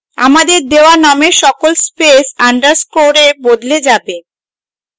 আমাদের দেওয়া নামের সকল স্পেস underscore we বদলে যায়